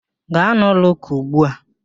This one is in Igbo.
Gaa n'ụlọ ụka ugbu a!